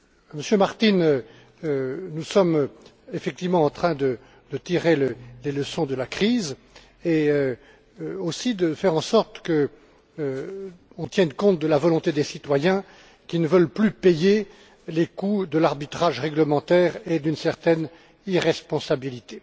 Monsieur Martin, nous sommes effectivement en train de tirer les leçons de la crise et aussi de faire en sorte qu'on tienne compte de la volonté des citoyens qui ne veulent plus payer les coûts de l'arbitrage réglementaire et d'une certaine irresponsabilité.